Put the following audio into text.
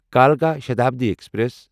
کلکا Shatabdi express